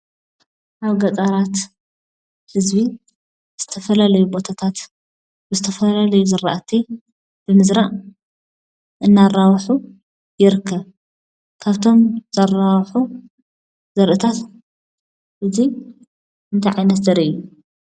ኣብ ገጠራት ህዝቢ ዝተፈላለዩ ቦታታት ዝተፈላለዩ ዝራእቲ ብምዝራእ እናራብሑ ይርከብ:; ካብቶም ዘረብሑ ዘርእታት እዚ እንታይ ዓይነት ዘርኢ እዩ ?